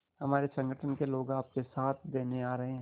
हमारे संगठन के लोग आपका साथ देने आ रहे हैं